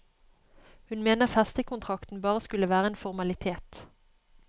Hun mener festekontrakten bare skulle være en formalitet.